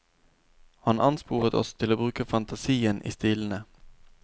Han ansporet oss til å bruke fantasien i stilene.